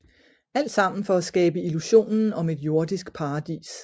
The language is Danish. Alt sammen for at skabe illusionen om et jordisk paradis